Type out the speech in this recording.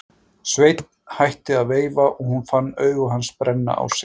Sveinn hætti að veifa og hún fann augu hans brenna á sér.